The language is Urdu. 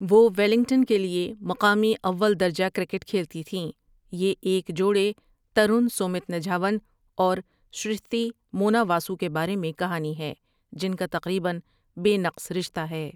وہ ویلنگٹن کے لیے مقامی اول درجہ کرکٹ کھیلتی تھیں یہ ایک جوڑے ترون سومیت نجھاون اور شرشتی مونا واسو کے بارے میں کہانی ہے جن کا تقریباً بے نقص رشتہ ہے۔